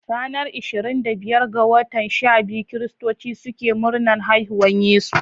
Ranar ishirin da biyar ga watan shabiyu, kiristoci suke murnar haihuwan yesu.